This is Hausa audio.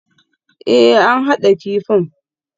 Ee, an haɗa kifin